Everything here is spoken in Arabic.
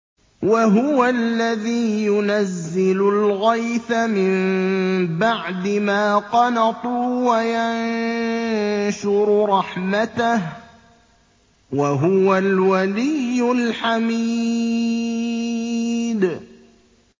وَهُوَ الَّذِي يُنَزِّلُ الْغَيْثَ مِن بَعْدِ مَا قَنَطُوا وَيَنشُرُ رَحْمَتَهُ ۚ وَهُوَ الْوَلِيُّ الْحَمِيدُ